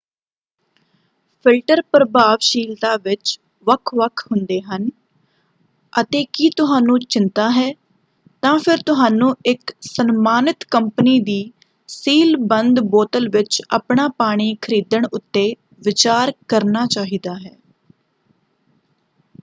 Filter ਪ੍ਰਭਾਵਸ਼ੀਲਤਾ ਵਿੱਚ ਵੱਖ-ਵੱਖ ਹੁੰਦੇ ਹਨ ਅਤੇ ਕੀ ਤੁਹਾਨੂੰ ਚਿੰਤਾ ਹੈ ਤਾਂ ਫਿਰ ਤੁਹਾਨੂੰ ਇਕ ਸਨਮਾਨਿਤ ਕੰਪਨੀ ਦੀ ਸੀਲ-ਬੰਦ ਬੋਤਲ ਵਿੱਚ ਆਪਣਾ ਪਾਣੀ ਖਰੀਦਣ ਉੱਤੇ ਵਿਚਾਰ ਕਰਨਾ ਚਾਹੀਦਾ ਹੈ।